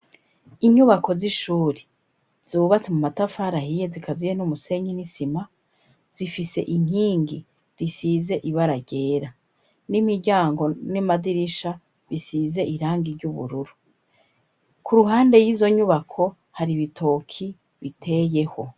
Inyubako z'ishuri zubatse mu matafarahiye zikaziye n'umusenyi n'isima zifise inkingi risize ibara ryera n'imiryango n'emadirisha bisize irangi ry'ubururu ku ruhande y'izo nyubako hari ibitoki biteyeho.